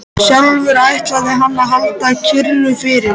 Sjálfur ætlaði hann að halda kyrru fyrir.